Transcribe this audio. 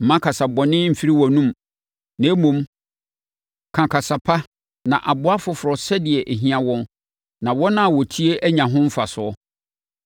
Mma kasa bɔne mfiri wʼanomu, na mmom, ka kasa pa na aboa afoforɔ sɛdeɛ ɛhia wɔn na wɔn a wɔtie anya ho mfasoɔ.